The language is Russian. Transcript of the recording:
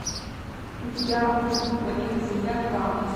у тебя будет планета земля два